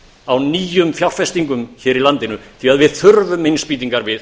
á nýjum fjárfestingum hér í landinu því að við þurfum innspýtingar við